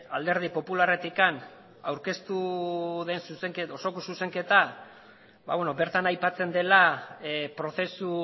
alderdi popularretik aurkeztu den osoko zuzenketa bertan aipatzen dela prozesu